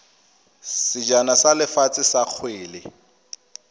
sejana sa lefatshe sa kgwele